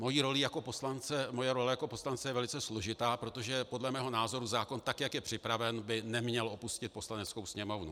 Moje role jako poslance je velice složitá, protože podle mého názoru zákon, tak jak je připraven, by neměl opustit Poslaneckou sněmovnu.